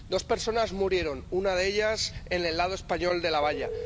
Dos personas murieron, una de ellas en el lado español de la valla.